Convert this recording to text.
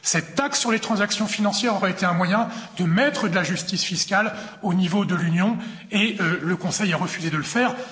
Cette taxe sur les transactions financières aurait été un moyen de mettre de la justice fiscale au niveau de l'Union, et le Conseil a refusé de le faire.